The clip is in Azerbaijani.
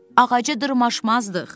Ağaca dırmaşmazdıq.